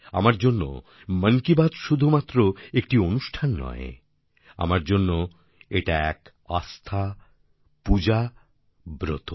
আমার জন্য মন কি বাত শুধুমাত্র একটি অনুষ্ঠান নয় আমার জন্য এটা এক আস্থা পূজা ব্রত